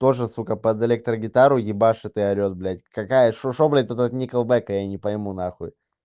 тоже сука под электрогитару ебашит и орёт блядь какая что что блядь этот никельбэк я не пойму нахуй